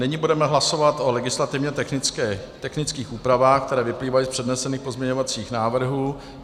Nyní budeme hlasovat o legislativně technických úpravách, které vyplývají z přednesených pozměňovacích návrhů.